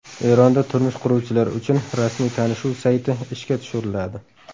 Eronda turmush quruvchilar uchun rasmiy tanishuv sayti ishga tushiriladi.